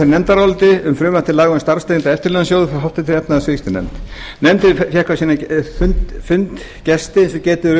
nefndaráliti um frumvarp til laga um starfstengda eftirlaunasjóði frá háttvirtri efnahags og viðskiptanefnd nefndin fékk á sinn fund gesti eins og getið er